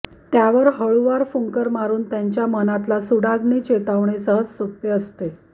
त्यावर हळुवार फुंकर मारून त्यांच्या मनातला सुडाग्नी चेतवणे सहज सोपे असते